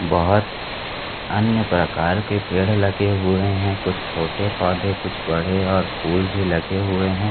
बोहोत अन्य प्रकार के पेड़ लगे हुए है कुछ छोटे पौधे कुछ बड़े और फूल भी लगे हुए हैं।